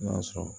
N'o y'a sɔrɔ